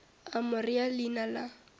a mo rea leina la